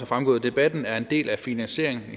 fremgået af debatten er en del af finansieringen